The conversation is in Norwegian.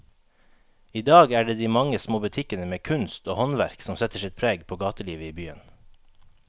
I dag er det de mange små butikkene med kunst og håndverk som setter sitt preg på gatelivet i byen.